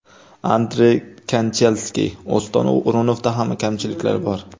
Andrey Kanchelskis: Oston O‘runovda ham kamchiliklar bor.